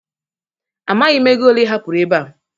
Amaghị m ego ole ị hapụrụ ebe a.